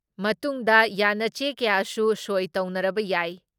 ꯃꯇꯨꯡꯗ ꯌꯥꯟꯅꯆꯦ ꯀꯌꯥꯁꯨ ꯁꯣꯏ ꯇꯧꯅꯔꯕ ꯌꯥꯏ ꯫